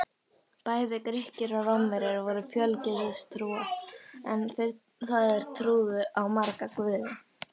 Bæði Grikkir og Rómverjar voru fjölgyðistrúar, það er trúðu á marga guði.